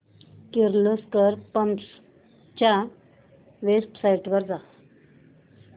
Kirloskar pumps च्या website वर जा